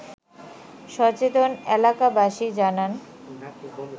সচেতন এলাবাসী জানান